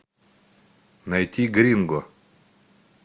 найти гринго